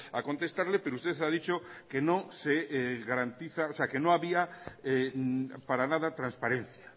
a contestarle pero usted ha dicho que no se garantiza o sea que no había para nada transparencia